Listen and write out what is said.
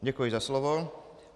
Děkuji za slovo.